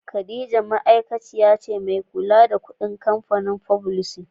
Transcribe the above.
Khadijah tana aikin mai kulla da kudaden wancan kampanin fublisin.